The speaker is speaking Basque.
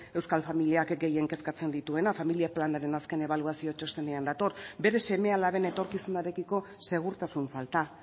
euskal familiak gehien kezkatzen dituena familia planaren azken ebaluazio txostenean dator bere seme alaben etorkizunarekiko segurtasun falta